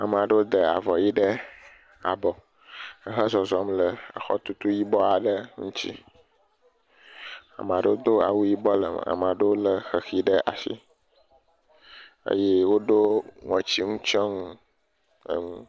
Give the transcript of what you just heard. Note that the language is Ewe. Ame aɖewo de avɔ ʋi ɖe abɔ ehe zɔzɔm le exɔtutu yibɔ aɖe ŋutsi. Ame aɖewo do awu yibɔ le eme, ame aɖewo le xexi ɖe asi eye woɖo ŋɔtsinutsɔnu enu.